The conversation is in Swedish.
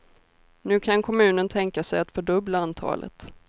Nu kan kommunen tänka sig att fördubbla antalet.